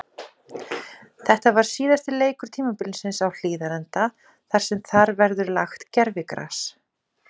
Þetta var síðasti leikur tímabilsins á Hlíðarenda þar sem þar verður lagt gervigras.